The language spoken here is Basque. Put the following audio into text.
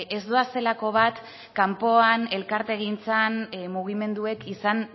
ez doazelako bat kanpoan elkartegintzan mugimenduek izan